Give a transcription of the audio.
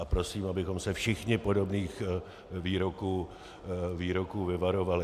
A prosím, abychom se všichni podobných výroků vyvarovali.